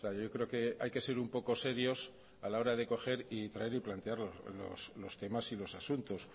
yo creo que hay que ser un poco serios a la hora de coger y traer y plantear los temas y los asuntos